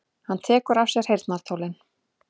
Hann tekur af sér heyrnartólin.